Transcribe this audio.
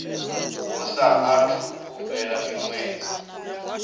hu saathu u fhela miṅwedzi